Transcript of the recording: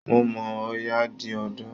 Mo mọ̀ ọ́n, Ọya di odò